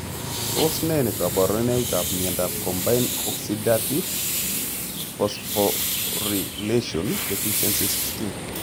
Tos ne kaborunoikab miondop combined oxidative phosphorylation deficiency 16?